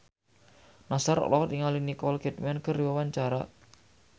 Nassar olohok ningali Nicole Kidman keur diwawancara